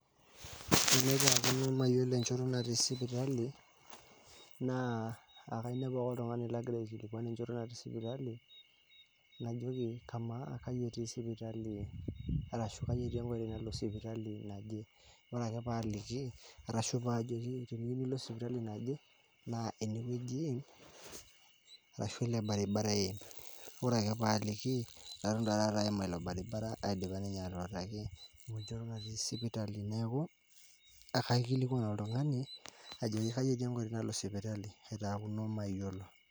Tenaitaaakino myolo enchoto natii sipitali naa ekainiapu ake ltungani nagira aikilikwan enchoto natii sipitali, najoki kamaa kaji etii sipitali arashu kaji etii nkoitoi nalo sipitali najee, ore ake paaliki arashu paajoki teniyeu nilo sipitali naje naa eneweji iim arashu ale irbaribara iim, ore ake paaliki eton taata aima ilo irbaribara aidipa ninye airoraki enchoto natii sipitali naaku ekaikilikwan oltungani ajoki kaji enkoitoi nalo sipitali aitaakuno mayolo.